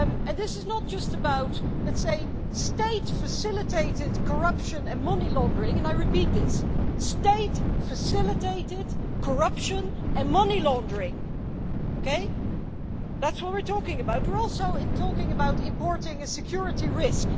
This is not just about state facilitated corruption and money-laundering, and I repeat that state facilitated corruption and money-laundering as that's what we're talking about, but we're also talking about importing a security risk.